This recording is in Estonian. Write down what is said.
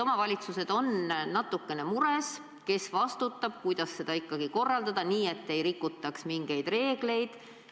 Omavalitsused on natukene mures: kes vastutab, kuidas seda ikkagi korraldada nii, et ei rikutaks mingeid reegleid?